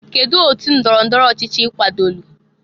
kedụ otu ndọrọ ndọrọ ọchịchị i kwadolu?